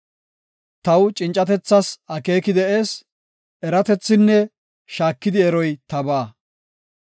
Taw, cincatethas akeeki de7ees; eratethinne shaakidi eroy tabaa.